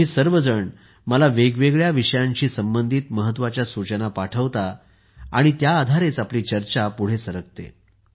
तुम्ही सगळे मला वेगवेगळ्या विषयांशी संबंधित महत्त्वाच्या सूचना पाठवता आणि त्या आधारेच आपली चर्चा पुढे सरकते